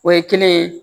O ye kelen ye